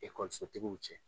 Ekɔlisotigiw cɛ